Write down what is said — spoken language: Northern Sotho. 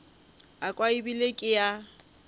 a kwa ebile ke a